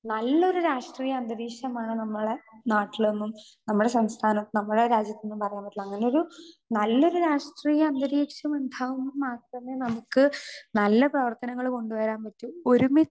Speaker 2 നല്ല ഒരു രാഷ്ട്രീയ അന്തരീക്ഷമാണ് നമ്മടെ നാട്ടിൽ എന്നും നമ്മടെ സംസ്ഥാനത്ത് ന്നും നമ്മടെ രാജ്യത്ത് ന്നും പറയാൻ പറ്റുള്ളൂ. അങ്ങനെ ഒരു നല്ലൊരു രാഷ്ട്രീയ അന്തരീക്ഷം ഉണ്ടാവും. നാട്ടിലെന്നെ നമുക്ക് നല്ല പ്രവര്ത്തനങ്ങള് കൊണ്ടുവരാൻ പറ്റും. ഒരുമിച്ച്